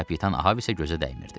Kapitan Ahav isə gözə dəymirdi.